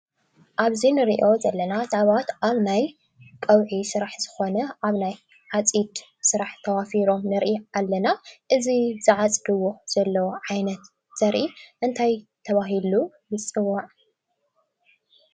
ኣብዚ ንሪኦ ዘለና ሰባት ኣብ ናይ ቀውዒ ስራሕ ዝኾነ ኣብ ናይ ዓፂድ ስራሕ ተዋፊሮም ንርኢ ኣለና። እዚ ዝዓፅድዎ ዘለዉ ዓይነት ዘርኢ እንታይ ተባሂሉ ይፅዋዕ ?